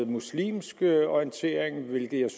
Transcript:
muslimsk orientering hvilke jeg